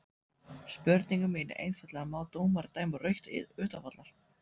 Spurningin mín er einfaldlega má dómari dæma rautt utan vallar?